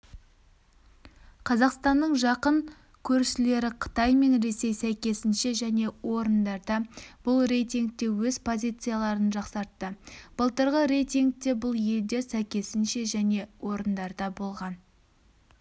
қазақстанның жақын көршілеріқытай мен ресей сәйкесінше және орындарда бұл рейтингте өз позицияларын жақсартты былтырғы рейтингте бұл елдер сәйкесінше және орындарда болған